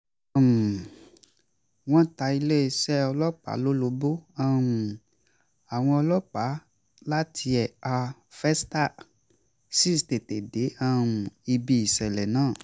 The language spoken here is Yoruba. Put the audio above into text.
um wọ́n ta iléesẹ́ ọlọ́pàá lólobó àwọn ọlọ́pàá láti ẹ̀ka festac sì tètè dé um ibi ìsẹ̀lẹ̀ náà